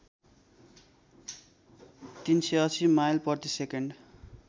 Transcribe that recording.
३८० mile प्रतिसेकेन्ड